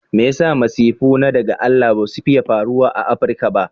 Me yasa masifu na daga Allah basu fiiye faruwa a Africa ba?